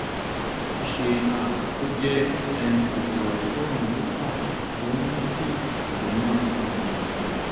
ó ṣeé um kó jẹ́ um kòkòrò àkóràn buccal tó ń mú kí ètè máa um gbọ̀n